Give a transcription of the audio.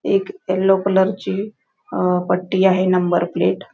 एक yellow colour ची पट्टी आहे नंबर प्लेट .